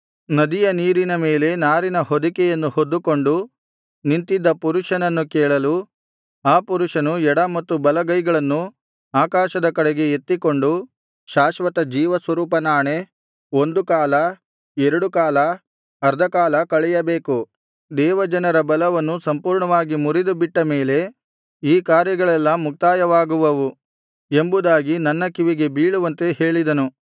ನದಿಯ ನೀರಿನ ಮೇಲೆ ನಾರಿನ ಹೊದಿಕೆಯನ್ನು ಹೊದ್ದುಕೊಂಡು ನಿಂತಿದ್ದ ಪುರುಷನನ್ನು ಕೇಳಲು ಆ ಪುರುಷನು ಎಡ ಮತ್ತು ಬಲಗೈಗಳನ್ನು ಆಕಾಶದ ಕಡೆಗೆ ಎತ್ತಿಕೊಂಡು ಶಾಶ್ವತ ಜೀವಸ್ವರೂಪನಾಣೆ ಒಂದು ಕಾಲ ಎರಡುಕಾಲ ಅರ್ಧಕಾಲ ಕಳೆಯಬೇಕು ದೇವಜನರ ಬಲವನ್ನು ಸಂಪೂರ್ಣವಾಗಿ ಮುರಿದುಬಿಟ್ಟ ಮೇಲೆ ಈ ಕಾರ್ಯಗಳೆಲ್ಲಾ ಮುಕ್ತಾಯವಾಗುವವು ಎಂಬುದಾಗಿ ನನ್ನ ಕಿವಿಗೆ ಬೀಳುವಂತೆ ಹೇಳಿದನು